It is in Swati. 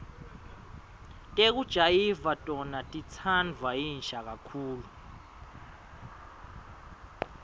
tekujayiva tona titsandvwa yinsha kakhulu